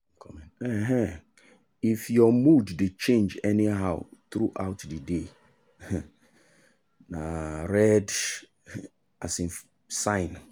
um if your mood dey change anyhow throughout the day um na red um sign.